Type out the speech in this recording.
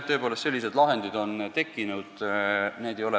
Tõepoolest, sellised lahendid on tekkinud.